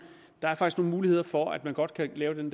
muligheder for at man godt kan lave den